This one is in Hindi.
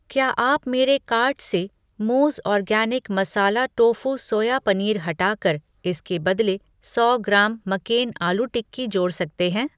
क्या आप मेरे कार्ट से Mooz organic masala tofu soya paneer हटाकर, इसके बदले सौ ग्राम मक्केन आलू टिक्की जोड़ सकते हैं?